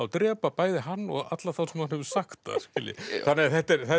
drepa bæði hann og alla þá sem hann hefur sagt það þannig að þetta er